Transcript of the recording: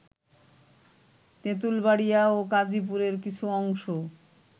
তেতুল বাড়িয়া ও কাজিপুরের কিছু অংশ